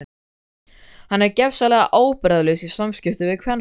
Hann er gersamlega ábyrgðarlaus í samskiptum við kvenfólk.